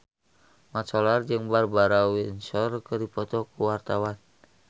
Mat Solar jeung Barbara Windsor keur dipoto ku wartawan